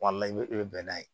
Wala i bɛ i bɛ bɛnnɛ ye